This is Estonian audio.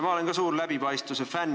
Ma olen ka suur läbipaistvuse fänn.